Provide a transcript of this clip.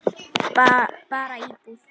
Bara íbúð.